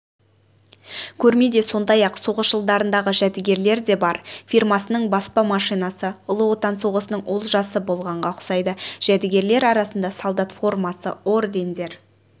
көрмеде сондай-ақ соғыс жылдарындағы жәдігерлер де бар фирмасының баспа машинасы ұлы отан соғысының олжасы болғанға ұқсайды жәдігерлер арасында солдат формасы ордендер